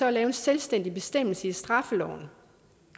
at lave en selvstændig bestemmelse i straffeloven